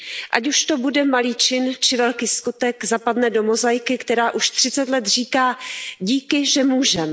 Ať už to bude malý čin či velký skutek, zapadne do mozaiky, která už 30 let říká Díky, že můžem!